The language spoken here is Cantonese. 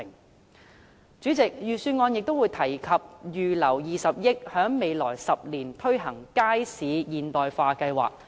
代理主席，預算案亦提及預留20億元，在未來10年推行街市現代化計劃。